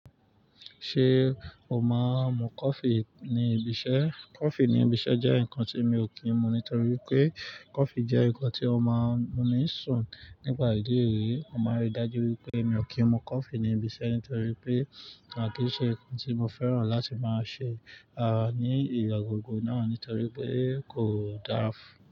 Ṣé o máa ń mu coffee ní ibiṣẹ́? Coffee ní ibiṣẹ́ jẹ́ nǹkan tí mi ò kí ń mu nítorí pé coffee jẹ́ nǹkan tí ó máa ń mú mi sùn nígbà ìdíje rí. Mo máa rí i dájú wípé mi ò kí ń mu coffee ní ibiṣẹ́ nítorí pé kí ń ṣe nǹkan tí mo fẹ́ràn láti máa ṣe, ní ìlọ́gogọ́ náà nítorí pé kò dára.